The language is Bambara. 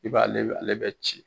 I b' ale , ale bɛ ci.